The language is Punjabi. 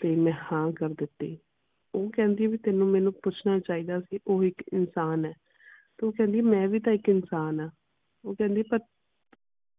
ਤੇ ਮੈਂ ਹਾਂ ਕਰ ਦਿੱਤੀ ਉਹ ਕਹਿੰਦੀ ਆ ਵੀ ਤੈਨੂੰ ਮੈਨੂੰ ਪੁੱਛਣਾ ਚਾਹੀਦਾ ਸੀ ਉਹ ਇਕ ਇਨਸਾਨ ਹੈ। ਤੇ ਉਹ ਕਹਿੰਦੀ ਮੈਂ ਵੀ ਤਾ ਇਕ ਇਨਸਾਨ ਆ। ਉਹ ਕਹਿੰਦੀ ਪਰ